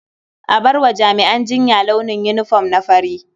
A bar wa jami'an jinya launin yinifom na fari.